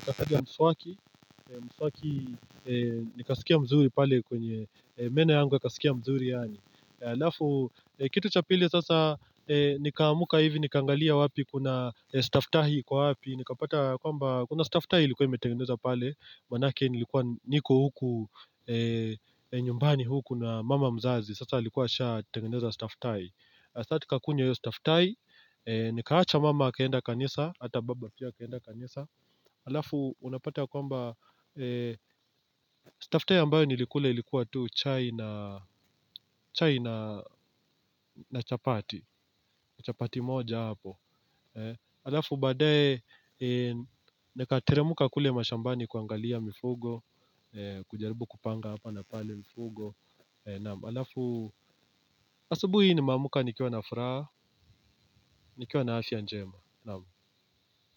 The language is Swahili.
Nika kutugia mswaki mswaki nikasikia mzuri pale kwenye meno yangu wakasikia mzuri yani Alafu kitu chapili sasa nikaamuka hivi Nikangalia wapi kuna stafetahi kwa wapi nikapata kwamba kuna staff tie ilikuwa metengeneza pale maanake nilikuwa niko huku nyumbani huku na mama mzazi Sasa alikuwa asha tengeneza staff tie saa tutakakunywa hiyo staff tie Nikaacha mama akaenda kanisa Hata baba pia akaenda kanisa Halafu unapata kwamba Staff tie ambayo nilikuwa ilikuwa tu chai na chai na chapati chapati moja hapo alafu badaye nikateremka kule muka mashambani kuangalia mifugo kujaribu kupanga hapa na pale mifugo alafu asubi hii ni meamka nikiwa na furaha nikiwa na afya njema.